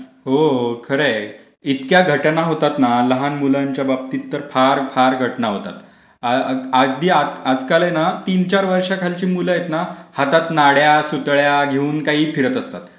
हो, खरं आहे. इतक्या घटना होतात ना लहान मुलांच्या बाबतीत तर फार फार घटना होतात, अगदी आजकाल है ना तीन चार वर्षंखालची मुलं आहेत ना हातात नाड्या, सुतळ्या घेऊन काही फिरत असतात.